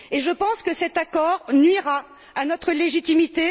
Et je pense que cet accord nuira à notre légitimité.